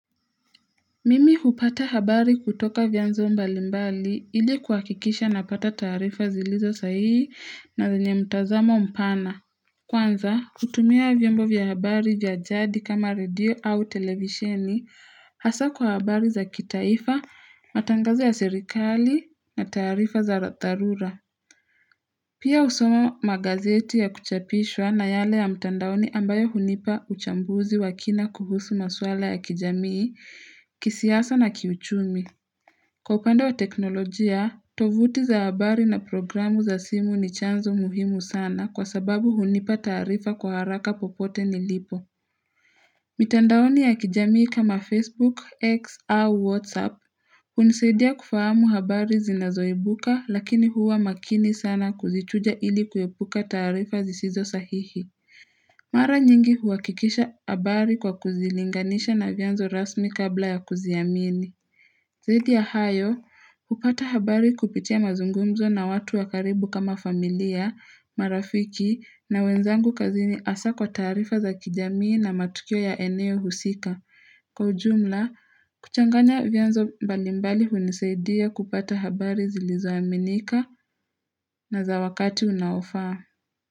Mimi hupata habari kutoka vyanzo mbalimbali ili kuhakikisha napata taarifa zilizo sahihi na zenye mtazamo mpana. Kwanza, kutumia vyombo vya habari vya jadi kama radio au televisheni hasa kwa habari za kitaifa, matangazo ya serikali na taarifa za dharura. Pia husoma magazeti ya kuchapishwa na yale ya mtandaoni ambayo hunipa uchambuzi wakina kuhusu maswala ya kijamii, kisiasa na kiuchumi. Kwa upande wa teknolojia, tovuti za habari na programu za simu ni chanzo muhimu sana kwa sababu hunipa taarifa kwa haraka popote nilipo. Mitandaoni ya kijamii kama Facebook, X au WhatsApp, hunisaidia kufahamu habari zinazoibuka lakini huwa makini sana kuzichuja ili kuepuka taarifa zisizo sahihi. Mara nyingi huhakikisha habari kwa kuzilinganisha na vyanzo rasmi kabla ya kuziamini. Zaidi ya hayo, hupata habari kupitia mazungumzo na watu wakaribu kama familia, marafiki na wenzangu kazini hasa kwa taarifa za kijamii na matukio ya eneo husika. Kwa ujumla, kuchanganya vyanzo mbalimbali hunisaidia kupata habari zilizo aminika na za wakati unaofaa.